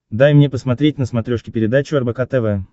дай мне посмотреть на смотрешке передачу рбк тв